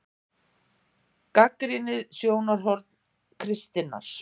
GAGNRÝNIÐ SJÓNARHORN KRISTINNAR